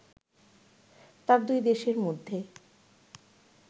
তা দুই দেশের মধ্যে